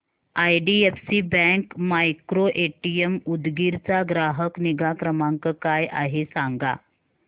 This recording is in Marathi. आयडीएफसी बँक मायक्रोएटीएम उदगीर चा ग्राहक निगा क्रमांक काय आहे सांगा